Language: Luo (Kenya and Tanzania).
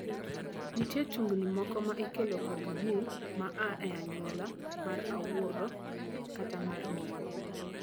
Nitie tungni moko ma ikelo kod jii ma aa e anyuola mar wuoro kata mar miyo.